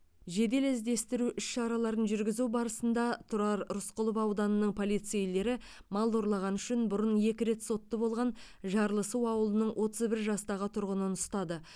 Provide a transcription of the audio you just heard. жедел іздестіру іс шараларын жүргізу барысында тұрар рысқұлов ауданының полицейлері мал ұрлағаны үшін бұрын екі рет сотты болған жарлысу ауылының отыз бір жастағы тұрғынын ұстады